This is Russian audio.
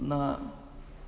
на